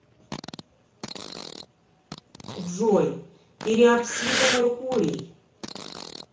джой периапсида меркурий